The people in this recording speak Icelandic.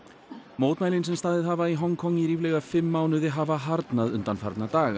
mótmælin sem staðið hafa í Hong Kong í ríflega fimm mánuði hafa harðnað undanfarna daga